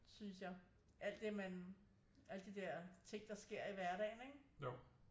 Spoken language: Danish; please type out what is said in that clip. Synes jeg alt det man alle de der ting der sker i hverdagen ikke